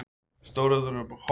Stór urta með kóp.